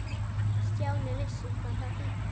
Stjáni vissi hvað það þýddi.